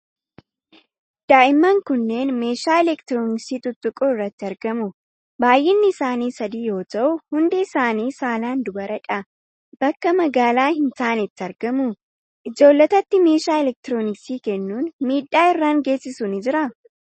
Daa'imman kunneen meeshaa elektirooniksii tuttuquu irratti argamu. Baay'inni isaanii sadii yoo ta'u, hundi isaanii saalaan dubaradha. Bakka magaalaa hin taanetti argamu. Ijoollotatti meeshaa elektirooniksii kennuun miidhaa irraan geessisu ni jiraa?